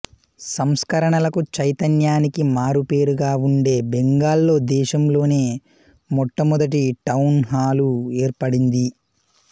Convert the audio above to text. సంస్కరణలకు చైతన్యానికి మారుపేరుగా వుండే బెంగాల్లో దేశంలోనే మొట్టమొదటి టౌన్ హాలు ఏర్పడింది